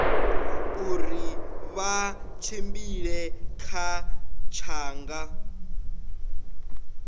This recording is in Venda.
uri vha tshimbila kha tshanḓa